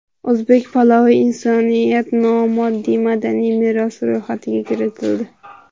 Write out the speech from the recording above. O‘zbek palovi insoniyat nomoddiy madaniy merosi ro‘yxatiga kiritildi.